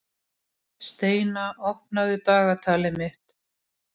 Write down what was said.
Steina, opnaðu dagatalið mitt.